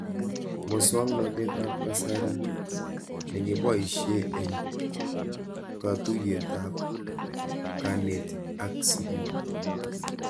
Muswoknotetab kasari nekiboishe eng katuyetab kanetik ak sigik